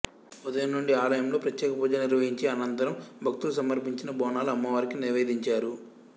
ఉదయం నుండి ఆలయంలో ప్రత్యేకపూజలు నిర్వహించి అనంతరం భక్తులు సమర్పించిన బోనాలను అమ్మవారికి నివేదించారు